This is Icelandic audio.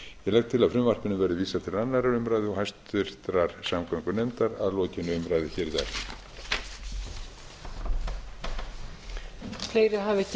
legg til að frumvarpinu verði vísað til annarrar umræðu og háttvirtrar samgöngunefndar að lokinni umræðu hér í dag